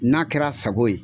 N'a kɛr'a sago ye